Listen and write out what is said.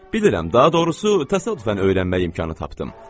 Bilirəm, daha doğrusu təsadüfən öyrənmək imkanı tapdım.